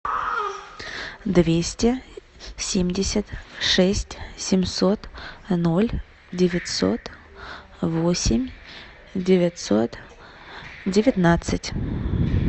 двести семьдесят шесть семьсот ноль девятьсот восемь девятьсот девятнадцать